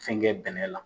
Fɛn kɛ bɛnɛ la